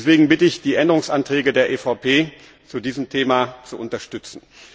Deswegen bitte ich, die Änderungsanträge der EVP zu diesem Thema zu unterstützen.